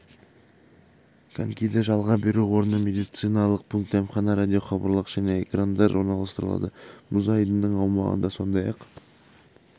конькиді жалға беру орны медициналық пункт дәмхана радиохабарлағыш және экрандар орналастырылады мұз айдынының аумағында сондай-ақ